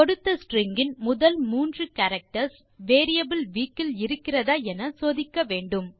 கொடுத்த ஸ்ட்ரிங் இன் முதல் 3 கேரக்டர்ஸ் வேரியபிள் வீக் இல் இருக்கிறதா என சோதிக்க வேண்டும்